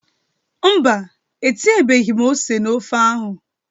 Mba, etinyebeghị m ose na ofe ahụ.